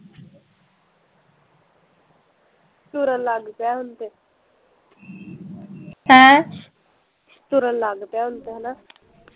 ਤੁਰਨ ਲੱਗ ਪਿਆ ਹੁਣ ਤੇ ਤੁਰਨ ਲੱਗ ਪਿਆ ਹੁਣ ਤੇ ਹੈਨਾ